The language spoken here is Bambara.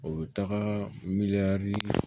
O bɛ taga